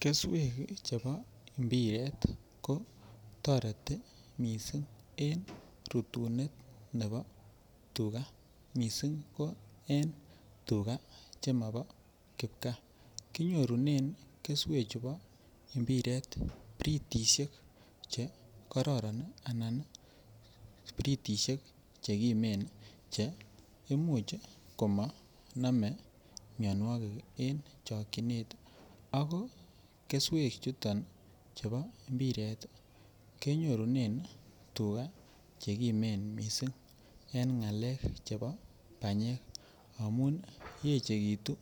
Keswek chego mpiret ko toreti missing' en rutunet nebo tuga, missing' ko en tuga che mobo kipkaa. Kinyorunen keswechu chubo britisiek che kimen che imuch komo nome mionwokik en chikiynet ako keswek chuton chebo mpiret kenyorunen tuga che kimen missing' en ngalek chebo banyek amun yeche kitun